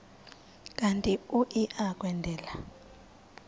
kanti uia kwendela